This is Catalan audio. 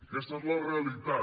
aquesta és la realitat